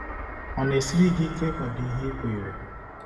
Ọ na-esiri gị ike ịkwado ihe i kweere?